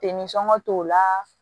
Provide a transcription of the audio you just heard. t'o la